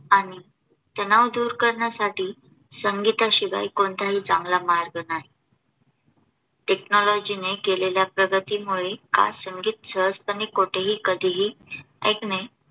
आणि तणाव दूर करण्यासाठी संगीता शिवाय कोणताही चांगला मार्ग नाही. TECHNOLOGY ने केलेल्या प्रगतीमुळे आज संगीत सहजपणे कोठेही कधीही ऐकणे.